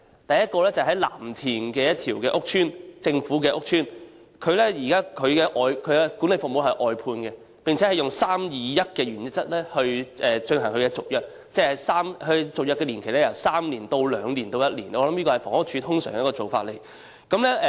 第一個例子是位於藍田的一個公共屋邨，該屋邨現時的管理服務由外判承辦商提供，並以 "3-2-1" 的原則來續約，即首次合約年期為3年，其後續約年期分別為2年及1年，我想這是房屋署通常的做法。